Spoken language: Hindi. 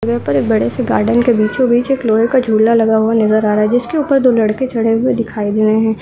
यहां पर एक बड़े से गार्डन के बीचों-बीच एक लोहे का झूला लगा हुआ नजर आ रहा है जिसके ऊपर दो लड़के चढ़े हुए नजर आ रहे हैं।